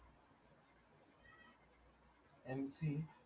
mc